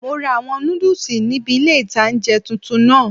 Mo ra àwọn nódùsù níbi ilé-ìtánjẹ tuntun náà